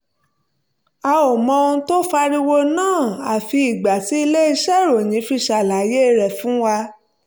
a ò mọ ohun tó fa ariwo náà àfi ìgbà tí ilé-iṣẹ́ ìròyìn fi ṣàlàyé rẹ̀ fún wa